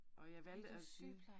Og jeg valgte at